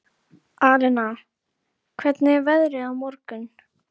Gættu þín á öfund annarra, Sveinn minn, sagði þá móðirin.